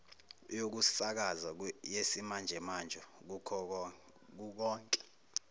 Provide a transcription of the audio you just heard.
yokusakaza yesimanjemanje kukonke